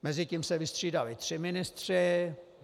Mezitím se vystřídali tři ministři.